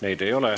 Neid ei ole.